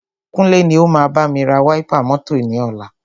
Kúnlé ni o máa bámi ra wáípà mọ́tọ̀ ni ọ̀la.